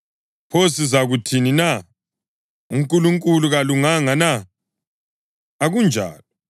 Pho sizakuthini na? UNkulunkulu kalunganga na? Akunjalo!